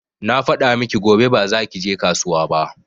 Na faɗa miki gobe ba za ki je kasuwa ba